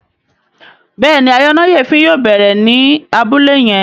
Béèni ayọnáyèéfín yóò bẹrẹ ní Abúlé yén.